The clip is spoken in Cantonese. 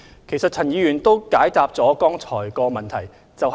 其實陳議員剛才已解答了該項補充質詢。